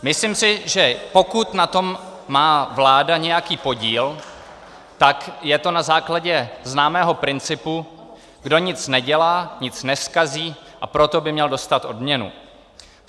Myslím si, že pokud na tom má vláda nějaký podíl, tak je to na základě známého principu: kdo nic nedělá, nic nezkazí, a proto by měl dostat odměnu.